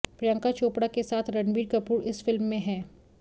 प्रियंका चोपड़ा के साथ रणबीर कपूर इस फिल्म में है